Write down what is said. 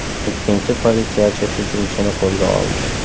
Ikkinchi politsiyachi hujumchini qo‘lga oldi.